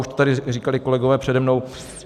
Už to tady říkali kolegové přede mnou.